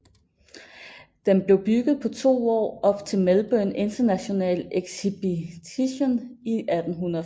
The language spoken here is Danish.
Den blev bygget på to år op til Melbourne International Exhibition i 1880